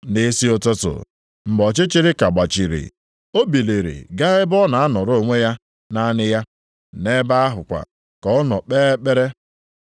Nʼisi ụtụtụ, mgbe ọchịchịrị ka gbachiri, o biliri, ga ebe ọ ga-anọrọ onwe ya, naanị ya. Nʼebe ahụ kwa ka ọ nọ kpee ekpere.